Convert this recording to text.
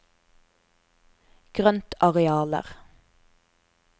grøntarealer